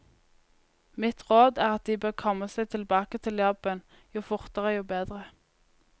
Mitt råd er at de bør komme seg tilbake til jobben, jo fortere jo bedre.